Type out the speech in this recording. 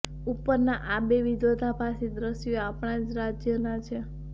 ઉપરના આ બે વિરોધાભાસી દ્રશ્યો આપણા જ રાજ્યના છે